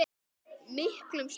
miklum stormi.